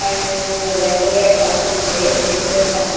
And there is a laser lights also is there there is a some--